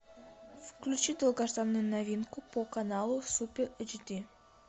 включи долгожданную новинку по каналу супер эйчди